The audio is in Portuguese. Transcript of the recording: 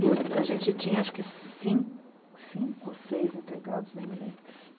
E a gente tinha cinco, cinco ou seis empregados, nem me lembro.